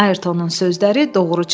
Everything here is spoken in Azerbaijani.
Ayertonun sözləri doğru çıxdı.